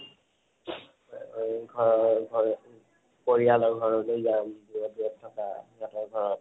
ঘৰ ঘৰলৈ, পৰিয়ালৰ ঘৰলৈ যাম, দুৰে দুৰে থাকা, সিহতৰ ঘৰত